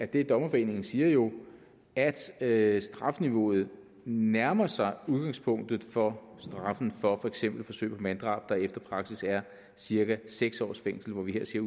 det dommerforeningen siger jo at at strafniveauet nærmer sig udgangspunktet for straffen for for eksempel forsøg på manddrab der efter praksis er cirka seks års fængsel her siger